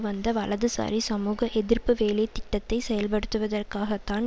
வந்த வலதுசாரி சமூக எதிர்ப்பு வேலைதிட்டத்தை செயல்படுத்துவதாகத்தான்